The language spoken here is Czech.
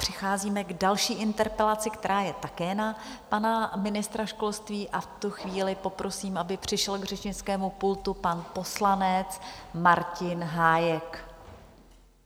Přicházíme k další interpelaci, která je také na pana ministra školství, a v tu chvíli poprosím, aby přišel k řečnickému pultu pan poslanec Martin Hájek.